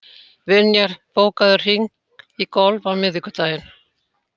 Vinjar, bókaðu hring í golf á miðvikudaginn.